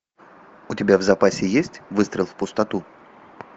у тебя в запасе есть выстрел в пустоту